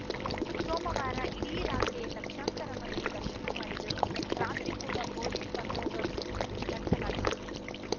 ಸೋಮವಾರ ಇಡೀ ರಾತ್ರಿಯೇ ಲಕ್ಷಾಂತರ ಮಂದಿ ದರ್ಶನ ಮಾಡಿದರು ರಾತ್ರಿ ಕೂಡ ಪೊಲೀಸ್‌ ಬಂದೋಬಸ್ತ್ ನಡೆಸಲಾಗಿತ್ತು